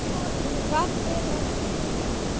Hvað er að hrjá hann?